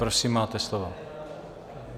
Prosím, máte slovo.